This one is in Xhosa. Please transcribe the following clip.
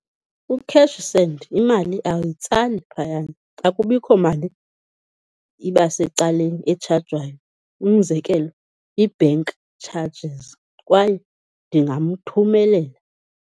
Ku-cash send imali awuyitsali phayana, akubikho mali ibasecaleni etshajwayo, umzekelo, ii-bank charges. Kwaye ndingamthumelela.